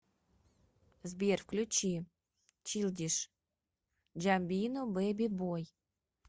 сбер включи чилдиш джамбино бэби бой